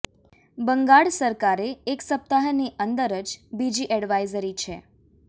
બંગાળ સરકારે એક સપ્તાહની અંદર જ બીજી એડવાઈઝરી છે